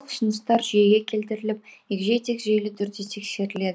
ұсыныстар жүйеге келтіріліп егжей тегжейлі түрде тексеріледі